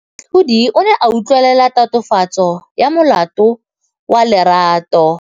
Moatlhodi o ne a utlwelela tatofatsô ya molato wa Lerato.